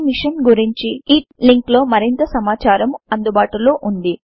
ఈ మిషన్ గురించి httpspoken tutorialorgNMEICT Intro link లో మరింత సమాచారము అందుబాటులో ఉన్నది